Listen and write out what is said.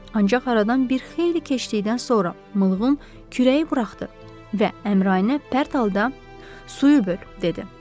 Ancaq aradan bir xeyli keçdikdən sonra Mılqın kürəyi buraxdı və Əmraənə pərt halda: "Suyu böl!" dedi.